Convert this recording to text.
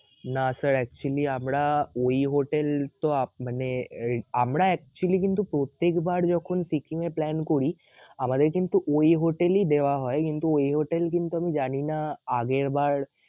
না sir actually আমরা ওই হোটেল তো আপ~মানে আমরা actually কিন্তু প্রত্যেকবার যখন সিকিমে plan করি আমাদের কিন্তু ওই হোটেলই দেয়া হয় কিন্তু ওই হোটেল কিন্তু আমি জানিনা আগেরবার